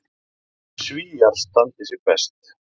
Svíar standi sig best.